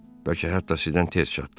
Bəlkə hətta sizdən tez çatdım.